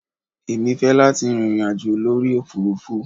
Èmi fẹ́ láti rin ìrìn àjò lórí òfurufú.